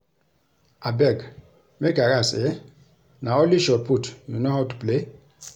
Abeg make I ask eh na only shotput you know how to play?